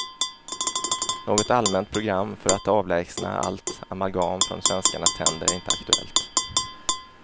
Något allmänt program för att avlägsna allt amalgam från svenskarnas tänder är inte aktuellt.